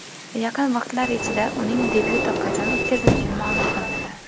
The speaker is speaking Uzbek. Yaqin vaqtlar ichida uning debyuti qachon o‘tkazilishi ma’lum qilinadi.